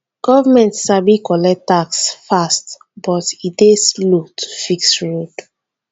government sabi collect tax fast but e dey slow to fix road.